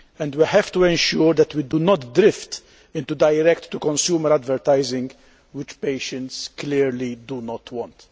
We have to ensure that we do not drift into direct to consumer advertising, which patients clearly do not want.